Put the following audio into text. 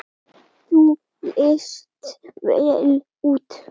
Þú leist vel út.